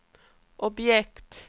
objekt